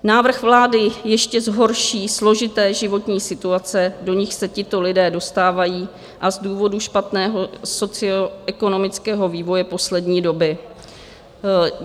Návrh vlády ještě zhorší složité životní situace, do nichž se tito lidé dostávají, a z důvodu špatného socioekonomického vývoje poslední doby.